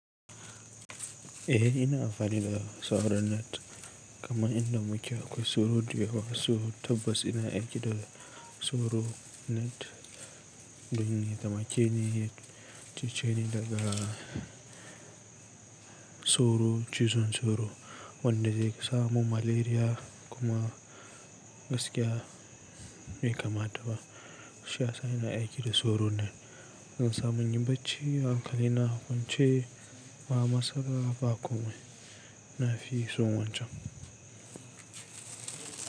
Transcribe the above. Eh ina amfani da sauro net, kamar inda muke akwai soro da yawa, so tabbas ina aiki da soro net domin ya taimake ni, yace ce ni daga soro, cizon soro wanda zai sa mun malaria kuma gaskiya bai kama ta ba. Shi ya sa ina aiki da soro net. Zan samu yin bacci hankali na wance ba matsala ba kuma ina fisun wancan.